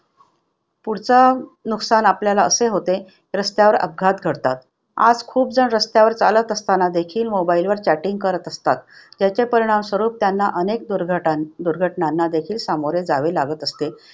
पुढचा नुकसान आपल्याला असे होते रस्त्यावर अपघात घडतात. आज खूप जण रस्त्यावर चालत असताना देखील mobile वर chatting करत असतात. त्याचे परिणामस्वरूप त्यांना अनेक दुर्घ~ दुर्घटनांना देखील सामोरे जावे लागत असते.